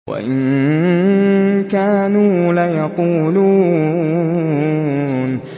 وَإِن كَانُوا لَيَقُولُونَ